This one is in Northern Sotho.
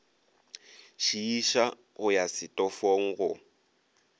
šiiša go ya setofong go